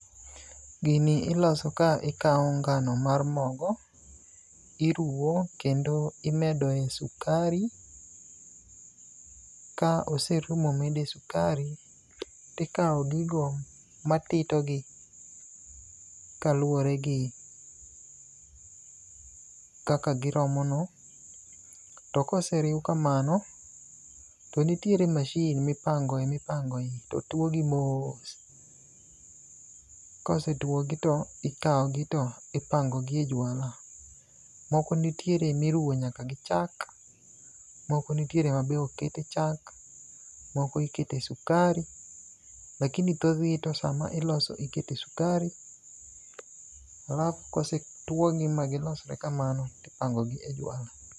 Gini iloso ka, ikawo ngno mar mogo. Iruwo, kendo imedo e sukari. Ka oseruw ma omede sukari, tikawo gigo matito gi kaluwore gi kaka giromono. To koseriw kamano, to nitiere machine mipangoe mipangoe to tuwogi moos. Kosetuwogi to ikawogi to ipangogi e jwala. Moko nitiere miruwo nyaka gi chak. Moko nitiere ma be ok kete chak. Moko ikete sukari, lakini thothgi sama iloso ikete sukari, alafu kosetuwogi magilosre kamano, tipangogi e jwala.